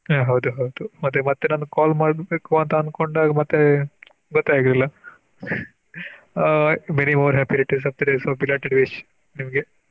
ಹ ಹೌದು ಹೌದು ಮತ್ತೆ ನಾನ್ call ಮಾಡ್ಬೇಕು ಅಂತ ಅಂಕೊಂಡಾಗ ಮತ್ತೆ ಗೊತ್ತೇ ಆಗಲಿಲ್ಲ ಹ Many more happy returns of the day, so belated wish ನಿಮ್ಗೆ.